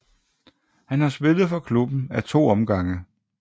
Han har spillet for klubben af to omgange